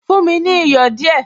Fún mi ní iyọ̀ díẹ̀